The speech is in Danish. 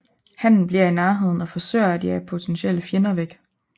Hannen bliver i nærheden og forsøger at jage potentielle fjender væk